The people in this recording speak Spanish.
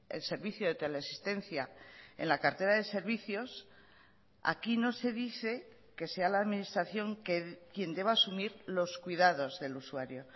el servicio de teleasistencia en la cartera de servicios aquí no se dice que sea la administración quien deba asumir los cuidados del usuario